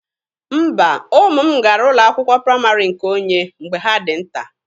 Mba, ụmụ m gara ụlọ akwụkwọ praịmarị nke onye mgbe ha dị nta.